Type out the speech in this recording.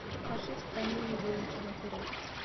покажи в стране невыученных уроков